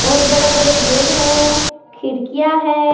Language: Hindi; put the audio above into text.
बहुत बड़े बड़े गेट है खिड़कियां है।